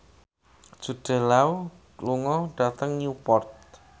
Jude Law lunga dhateng Newport